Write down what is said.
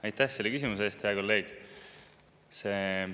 Aitäh selle küsimuse eest, hea kolleeg!